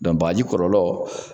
bagaji kɔlɔlɔ